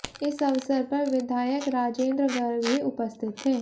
इस अवसर पर विधायक राजेन्द्र गर्ग भी उपस्थित थे